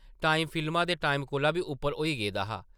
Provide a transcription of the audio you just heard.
Time फिल्मा दे time कोला बी उप्पर होई गेदा हा ।